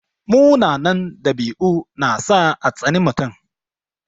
Munanan ɗabi'u na sa a tsani mutum.